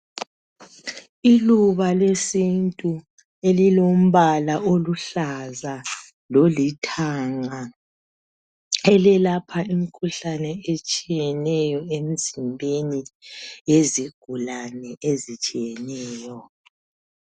Iluba lesintu elilombala oluhlaza lolithanga eliyelapha imkhuhlane etshiyeneyo emzimbeni lezigulane ezitshiyeneyo.